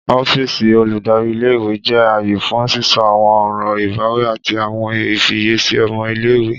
Ọfíìsì oludari íle-ìwe jẹ aaye fun sisọ awọn ọran ibawi ati awọn ifiyesi ọmọ ile-iwe.